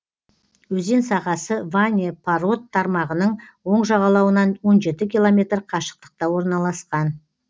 өзен сағасы ване парод тармағының оң жағалауынан он жеті километр қашықтықта орналасқан